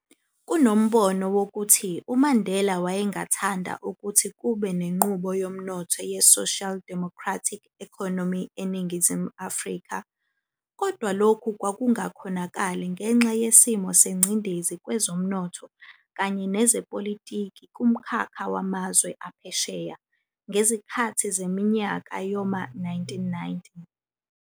Kunombono wokuthi uMandela wayengathanda ukuthi kube nenqubo yomnotho ye-social democratic economy eNingizimu Afrika, kodwa lokhu kwakungakhonakali ngenxa yesimo sengcindezi kwezomnotho kanye nezepolitiki kumkhakha wamazwe aphesheya, ngezikhathi zeminyaka yoma 1990.